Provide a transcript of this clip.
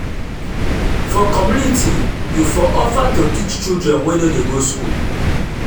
for community you for offer to teach children wey no dey go school